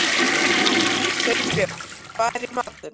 Sveinbjörg, hvað er í matinn?